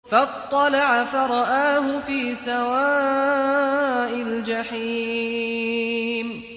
فَاطَّلَعَ فَرَآهُ فِي سَوَاءِ الْجَحِيمِ